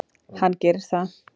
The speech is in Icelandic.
Hann gerir það.